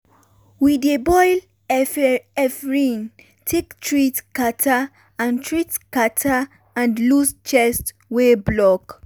we dey boil efirin take treat catarrh and treat catarrh and loose chest wey block.